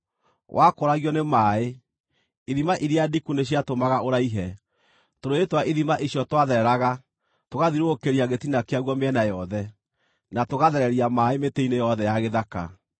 Wakũragio nĩ maaĩ, ithima iria ndiku nĩciatũmaga ũraihe; tũrũũĩ twa ithima icio twathereraga, tũgathiũrũrũkĩria gĩtina kĩaguo mĩena yothe, na tũgathereria maaĩ mĩtĩ-inĩ yothe ya gĩthaka.